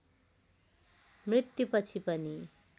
मृत्युपछि पनि